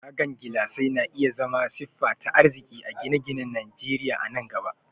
Tagan gilasai na iya zama siffa ta arziki a gine-ginen Najeriya a nan gaba.